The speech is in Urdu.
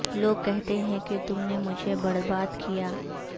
لوگ کہتے ہیں کہ تم نے مجھے برباد کیا